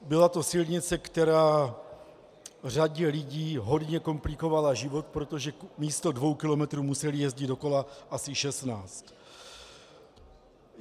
Byla to silnice, která řadě lidí hodně komplikovala život, protože místo dvou kilometrů museli jezdit do kola asi šestnáct.